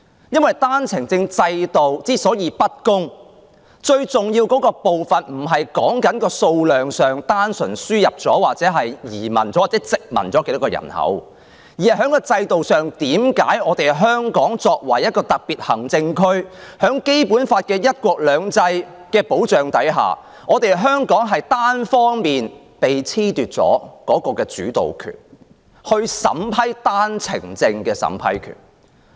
因為單程證制度的不公平，最重要的部分不是在數量上，即輸入了多少人口或有多少人移居香港，而是在制度上，為何香港作為一個特別行政區，在《基本法》的"一國兩制"原則保障下，單方面被褫奪了主導權及單程證的審批權。